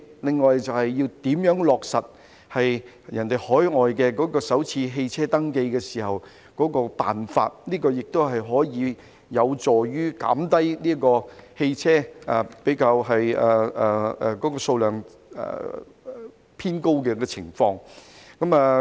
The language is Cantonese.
此外，就是落實海外採用的首次汽車登記的辦法，這個也有助紓緩汽車數量偏高的情況。